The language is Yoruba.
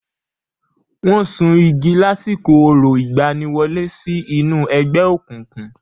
Wọ́n sun igi lásìkò orò ìgbaniwọlé sí inú ẹgbẹ́ òkùnkùn.